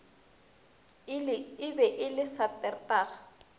e be e le saterdag